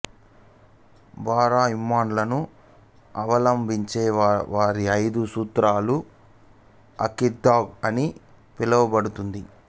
బారా ఇమామ్ లను అవలంబించేవారి ఐదు సూత్రాలు అఖీదాహ్ అని పిలువబడుతుంది